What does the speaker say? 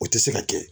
O tɛ se ka kɛ